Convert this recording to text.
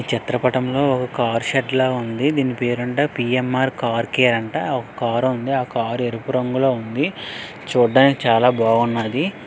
ఈ చిత్రపటంలో car shed ల ఉంది దీని పేరు అంట పి_ఎన్_ర్ కార్ కేర్ రంట ఒక కారు ఉంది కారు ఎరుపు రంగులో ఉంది చూడడానికి చాలా బాగున్నది.